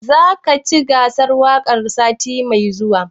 Za ka shiga cikin gasar waƙar sati mai zuwa?